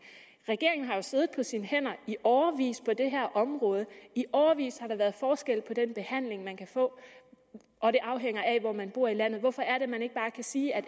regeringen har jo siddet på sine hænder i årevis på det her område i årevis har der været forskel på den behandling man kan få og det afhænger af hvor man bor i landet hvorfor kan man ikke bare sige at